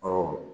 Ɔ